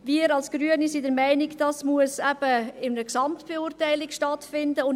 Wir als Grüne sind der Meinung, dass dies in einer Gesamtbeurteilung stattfinden muss.